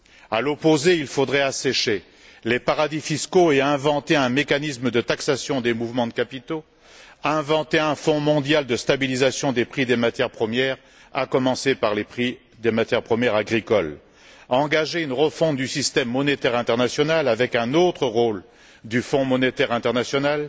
À l'opposé, il faudrait assécher les paradis fiscaux et inventer un mécanisme de taxation des mouvements de capitaux, inventer un fonds mondial de stabilisation des prix des matières premières, à commencer par les prix des matières premières agricoles, engager une refonte du système monétaire international avec un autre rôle du Fonds monétaire international,